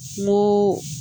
N'o